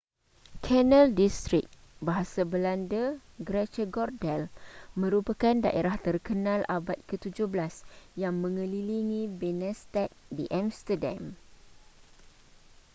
canal district bahasa belanda: grachtengordel merupakan daerah terkenal abad ke17 yang mengelilingi binnenstad di amsterdam